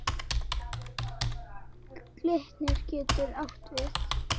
Glitnir getur átt við